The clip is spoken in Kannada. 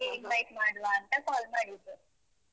ನಿಮ್ಗೆ invite ಮಾಡುವಾಂತ call ಮಾಡಿದ್ದು.